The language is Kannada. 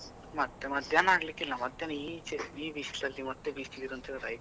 ಮತ್ತೆ ಮಧ್ಯಾಹ್ನ ಆಗ್ಲಿಕ್ಕಿಲ್ಲ, ಮಧ್ಯಾಹ್ನ ಈ ಬಿಸ್ಲಲ್ಲಿ ಮತ್ತೆ ಈ ಬಿಸಲು ಇದ್ರೆ ಆಯ್ತು.